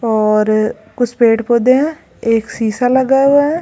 और कुछ पेड़ पौधे है एक शीशा लगा हुआ है।